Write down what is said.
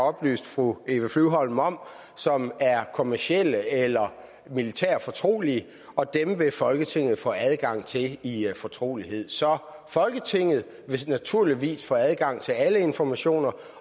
oplyst fru eva flyvholm om som er kommercielt eller militært fortrolige og dem vil folketinget få adgang til i fortrolighed så folketinget vil naturligvis få adgang til alle informationer